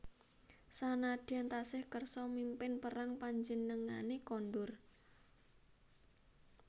Sanadyan tasih kersa mimpin perang panjenengane kondur